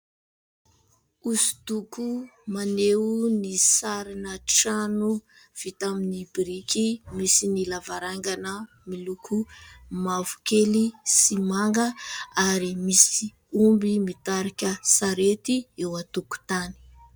Hosodoko maneho ny sarina trano vita amin'ny biriky, misy ny lavarangana miloko mavokely sy manga ary misy omby mitarika sarety eo an-tokotany.